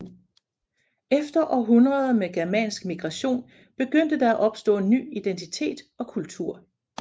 Efter århundreder med germansk migration begyndte der at opstå ny identitet og kultur